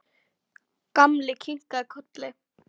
Gamli kinkaði kolli.